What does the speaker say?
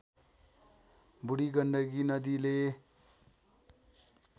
बूढी गण्डकी नदीले